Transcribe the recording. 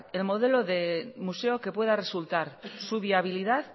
el modelo de museo que pueda resultar su viabilidad